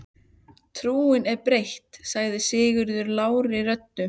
Trúin er breytt, sagði Sigurður lágri röddu.